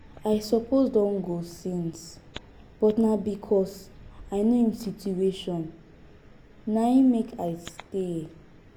i suppose don go since but na because i know im situation na im make i stay